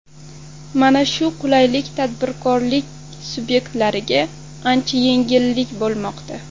Mana shu qulayliklar tadbirkorlik subyektlariga ancha yengillik bo‘lmoqda.